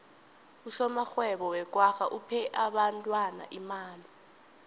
usomarhwebo wekwagga uphe abentwana imali